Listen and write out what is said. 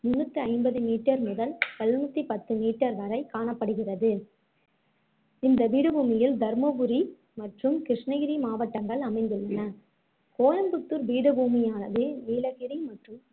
முந்நூத்தி ஐம்பது meter முதல் எழுநூத்தி பத்து meter வரை காணப்படுகிறது இந்தப் பீடபூமியில் தர்மபுரி மற்றும் கிருஷ்ணகிரி மாவட்டங்கள் அமைந்துள்ளன கோயம்புத்தூர் பீடபூமியானது நீலகிரி மற்றும்